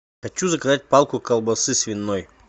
хочу заказать палку колбасы свиной